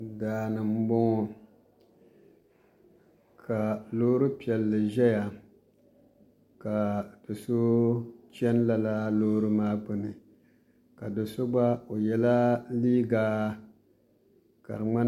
Daani n boŋo ka loori piɛlli ʒɛya ka do so chɛni lala loori piɛlli maa gbuni ka do so gba o yɛla liiga ka di ŋmani